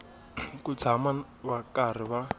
ku tshama va karhi va